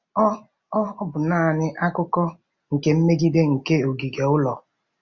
Ọ Ọ bụ naanị akụkụ nke mgbidi nke ogige ụlọ.